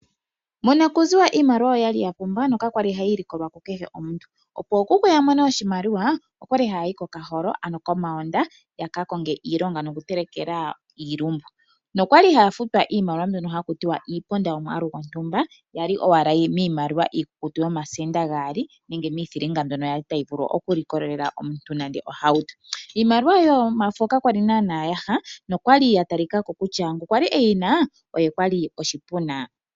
Monakuziwa iimaliwa oya li ya pumba nokaya li hayi likolwa kukehe omuntu. Opo ookuku ya mone oshimaliwa oya li haya yi kokaholo ano komoonda ya ka konge iilonga nokutelekela iilumbu. Oya li haya futwa iimaliwa mbyono haku ti wa iiponda yomwaalu gontumba ya li owala miimaliwa iikukutu yomasenda gaali nenge miithilinga mbyono ya li tayi vulu okulikolela omuntu ohauto. Iimaliwa yomafo ka kwali naanaa yaha naangoka a li e yi na okwa li a talika ko kutya oshipuna.